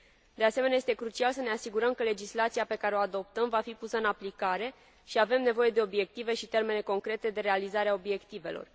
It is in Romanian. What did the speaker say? De asemenea, este crucial să ne asigurăm că legislația pe care o adoptăm va fi pusă în aplicare și avem nevoie de obiective și termene concrete de realizare a obiectivelor.